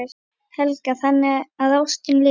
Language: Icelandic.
Helga: Þannig að ástin lifir?